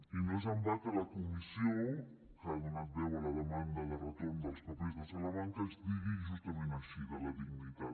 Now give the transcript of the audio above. i no és en va que la comissió que ha donat veu a la demanda de retorn dels papers de salamanca es digui justament així de la dignitat